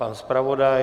Pan zpravodaj?